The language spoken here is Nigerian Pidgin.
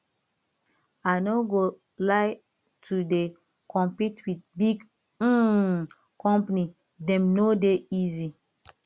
i no go lie to dey compete wit big um company dem no dey easy